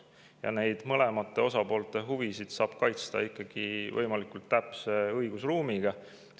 Ja neid mõlema osapoole huvisid saab kaitsta ikkagi võimalikult täpse õigusruumiga.